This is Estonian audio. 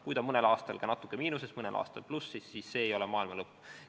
Kui ta mõnel aastal on natuke miinuses ja mõnel aastal plussis, siis see ei ole maailma lõpp.